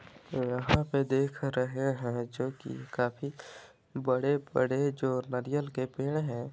यहाँ पे देख रहे हैं जोकि काफी बड़े- बड़े जो नरियल के पेड़ हैं ।